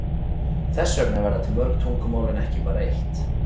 Þess vegna verða til mörg tungumál en ekki bara eitt.